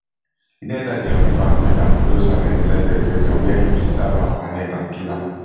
e den enta di apartment and follow saleh inside di elevator wia im stab am for neck and kill am